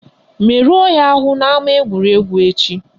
Merụọ ya ahụ n'ama egwuregwu echi!